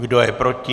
Kdo je proti?